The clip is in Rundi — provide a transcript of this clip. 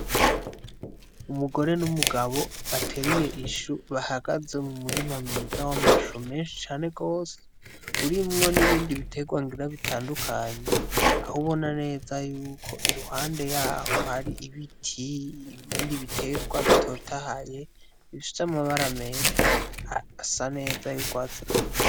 Umugore n'umugabo bateruye ishu bahagaze mu murima myiza w'amashu menshi cane gose urimwo n'ibindi biterwa ngira bitandukanye aho ubona neza yuko iruhande yaho hari ibiti ibindi biterwa bitotahaye bisfica amabara meza asa neza yugwatse rubisi.